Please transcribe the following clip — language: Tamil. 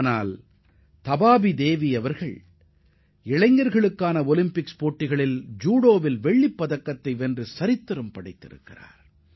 ஆனால் இளையோர் ஒலிம்பிக்கில் இந்தியாவின் தபாபி தேவி வெள்ளிப் பதக்கம் வென்று வரலாற்றுச் சாதனை படைத்துள்ளார்